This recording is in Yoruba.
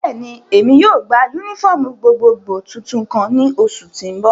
Bẹ́ẹ̀ni, Emi yóò gba unifọmú gbogbogbo tuntun kan ni oṣu ti n bọ.